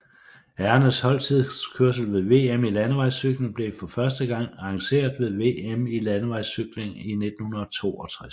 Herrernes holdtidskørsel ved VM i landevejscykling blev for første gang arrangeret ved VM i landevejscykling 1962